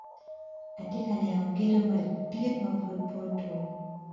Atye ka neno gedo madit ma pud pe otum.